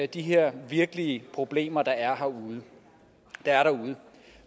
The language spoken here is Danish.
de her virkelige problemer der er derude